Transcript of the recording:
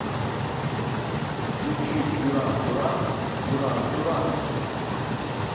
включи дюран дюран дюран дюран